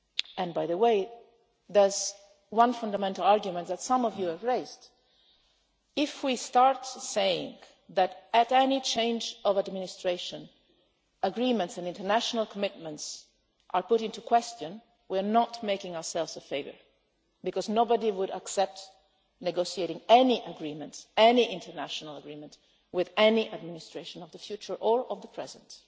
And there is one fundamental argument that some of you have raised if we start saying that, with any change of administration, agreements and international commitments are put into question, we are not doing ourselves a favour, because nobody would accept negotiating any agreement, any international agreement with any administration of the future or of the present.